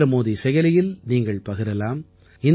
நரேந்திரமோடி செயலியில் நீங்கள் பகிரலாம்